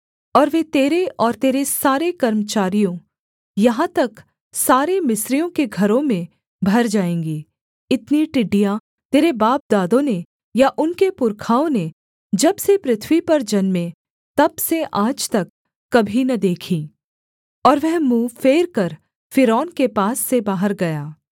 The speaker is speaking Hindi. और वे तेरे और तेरे सारे कर्मचारियों यहाँ तक सारे मिस्रियों के घरों में भर जाएँगी इतनी टिड्डियाँ तेरे बापदादों ने या उनके पुरखाओं ने जब से पृथ्वी पर जन्मे तब से आज तक कभी न देखीं और वह मुँह फेरकर फ़िरौन के पास से बाहर गया